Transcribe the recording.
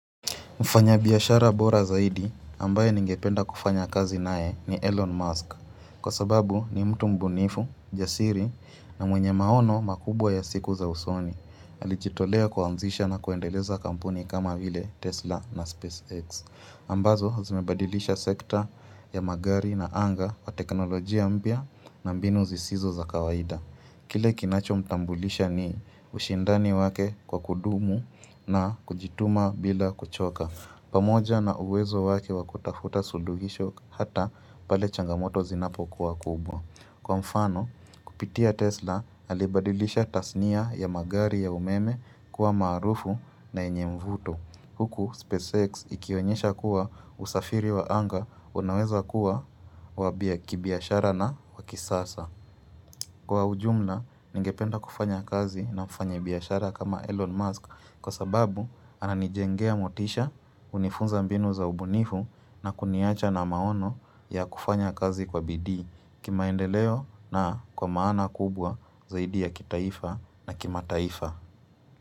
Mfanya biashara bora zaidi ambaye ningependa kufanya kazi naye ni Elon Musk. Kwa sababu, ni mtu mbunifu, jasiri na mwenye maono makubwa ya siku za usoni. Alijitolea kuanzisha na kuendeleza kampuni kama ile Tesla na SpaceX. Ambazo, zimebadilisha sekta ya magari na anga wa teknolojia mpya na mbinu zisizo za kawaida. Kile kinachomtambulisha ni ushindani wake kwa kudumu na kujituma bila kuchoka. Pamoja na uwezo wake wa kutafta suluhisho hata pale changamoto zinapokuwa kubwa. Kwa mfano, kupitia Tesla alibadilisha tasnia ya magari ya umeme kuwa maarufu na yenye mvuto. Huku SpaceX ikionyesha kuwa usafiri wa anga unaweza kuwa wa kibiashara na wa kisasa. Kwa ujumla, ningependa kufanya kazi na kufanya biashara kama Elon Musk, kwa sababu ananijengea motisha, unifunza mbinu za ubunifu na kuniacha na maono ya kufanya kazi kwa bidii. Kimaendeleo na kwa maana kubwa zaidi ya kitaifa na kimataifa.